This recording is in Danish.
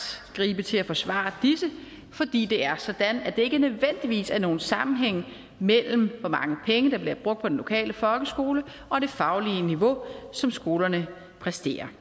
gribe til at forsvare disse fordi det er sådan at der ikke nødvendigvis er nogen sammenhæng mellem hvor mange penge der bliver brugt på den lokale folkeskole og det faglige niveau som skolerne præsterer